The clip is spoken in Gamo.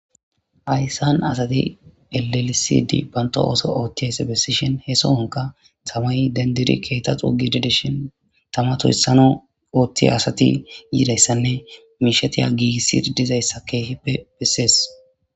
Hayyssan asati eelisidi banto ooso oothtiyayse bessishen hee soonka samay dendiri keeta xuugidi dishin tama tuhyssano oothtiy asati yidayssanne mishetiya giigissi dizayssa keehippe bessees.